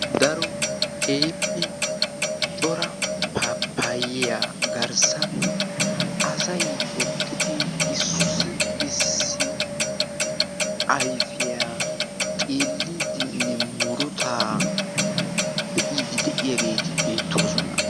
Daro kehippe cora papayiyaa garssan asay eqqidi issi issi ayfiyaa xeelliiddinne murutaa be'iidi de'iyaageeti beettoosona.